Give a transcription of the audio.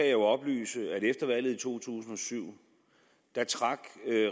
jo oplyse at efter valget i to tusind og syv trak